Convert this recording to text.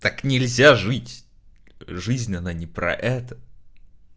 так нельзя жить жизнь она не про это